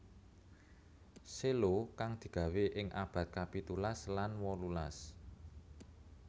Cello kang digawé ing abad kapitulas lan wolulas